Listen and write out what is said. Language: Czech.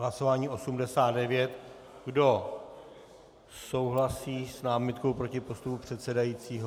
Hlasování 89 - kdo souhlasí s námitkou proti postupu předsedajícího?